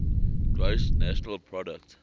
gross national product